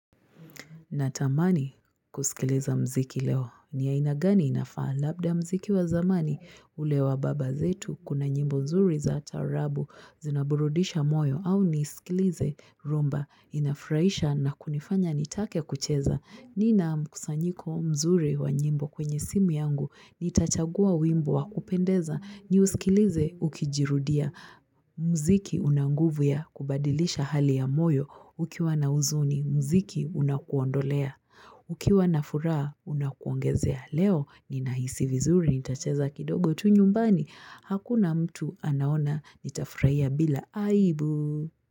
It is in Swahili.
Natamani kusikiliza muziki leo ni aina gani inafaa labda muziki wa zamani ule wa baba zetu kuna nyimbo nzuri za taarabu zinaburudisha moyo au nisikilize rumba inafurahisha na kunifanya nitake kucheza. Nina mkusanyiko mzuri wa nyimbo kwenye simu yangu, nitachagua wimbo wa kupendeza, niusikilize ukijirudia, muziki una nguvu ya kubadilisha hali ya moyo, ukiwa na huzuni, muziki unakuondolea, ukiwa na furaha, unakuongezea leo, ninahisi vizuri, nitacheza kidogo tu nyumbani, hakuna mtu anaona, nitafurahia bila aibu.